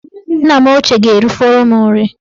Nna m ochie ga-erifọrọ m nri